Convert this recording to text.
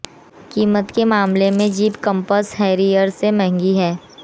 कीमत के मामले में जीप कंपस हैरियर से महंगी है